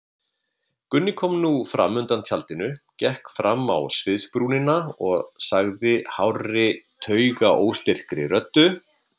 Gunni kom nú fram undan tjaldinu, gekk fram á sviðsbrúnina og sagði hárri taugaóstyrkri röddu.